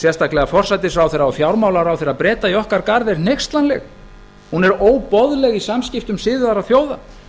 sérstaklega forsætisráðherra og fjármálaráðherra breta í okkar garð er hneykslanleg hún er óboðleg í samskiptum siðaðra þjóða